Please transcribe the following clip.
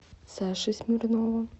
саши смирнова